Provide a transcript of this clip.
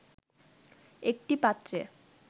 একটি পাত্রে